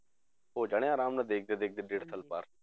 ਹੋ ਜਾਣੇ ਆ ਆਰਾਮ ਨਾਲ ਦੇਖਦੇ ਦੇਖਦੇ ਡੇਢ ਸਾਲ ਪਾਰ